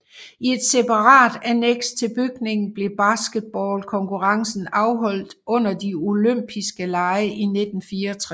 I et separat anneks til bygningen blev basketball konkurrencen afholdt under de olympise lege i 1964